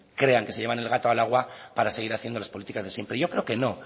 crean que se llevan el gato al agua para seguir haciendo las políticas de siempre yo creo que no